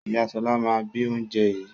Ìyá Ṣọlá máa bi oúnjẹ yìí.